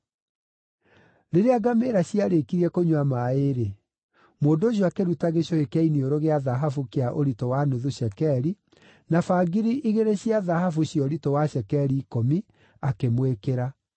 Rĩrĩa ngamĩĩra ciarĩkirie kũnyua maaĩ-rĩ, mũndũ ũcio akĩruta gĩcũhĩ kĩa iniũrũ gĩa thahabu kĩa ũritũ wa nuthu cekeri, na bangiri igĩrĩ cia thahabu cia ũritũ wa cekeri ikũmi, akĩmwĩkĩra.